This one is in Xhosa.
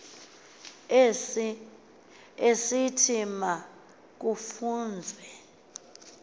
esithi ma kufunzwe